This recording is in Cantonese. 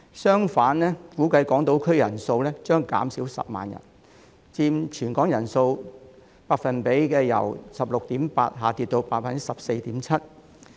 相反，港島區人數將估計減少10萬人，佔全港人口百分比將由 16.8% 下跌至 14.7%。